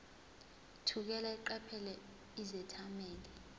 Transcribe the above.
thukela eqaphela izethameli